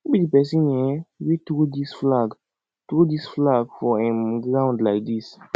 who be the person um wey throw dis flag throw dis flag for um ground like dis